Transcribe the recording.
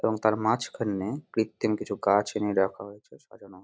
এবং তার মাঝ খানে কৃত্রিম কিছু গাছ এনে রাখা হয়েছে সাজানো হয়েছে।